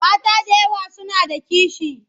Mata da yawa suna da kishi.